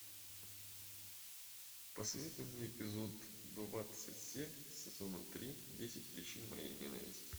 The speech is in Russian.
посоветуй мне эпизод двадцать семь сезона три десять причин моей ненависти